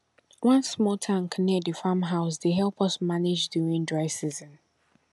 one small tank near the farm house dey help us manage during dry season